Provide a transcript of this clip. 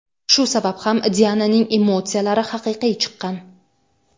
Shu sabab ham Diananing emotsiyalari haqiqiy chiqqan.